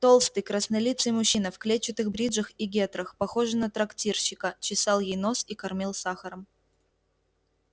толстый краснолицый мужчина в клетчатых бриджах и гетрах похожий на трактирщика чесал ей нос и кормил сахаром